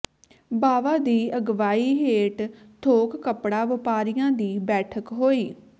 ਬਾਵਾ ਦੀ ਅਗਵਾਈ ਹੇਠ ਥੋਕ ਕੱਪੜਾ ਵਪਾਰੀਆਂ ਦੀ ਬੈਠਕ ਹੋਈ